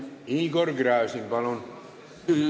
Igor Gräzin, palun!